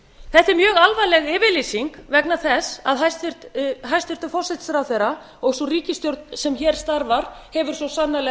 er mjög alvarleg yfirlýsing vegna þess að hæstvirtur forsætisráðherra og sú ríkisstjórn sem hér starfar hefur svo sannarlega